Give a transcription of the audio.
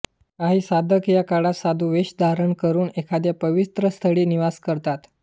काही साधक या काळात साधुवेश धारण करून एखाद्या पवित्र स्थळी निवास करतात